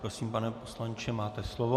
Prosím, pane poslanče, máte slovo.